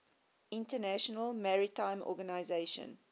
international maritime organization